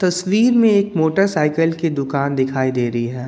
तस्वीर में एक मोटरसाइकिल की दुकान दिखाई दे रही है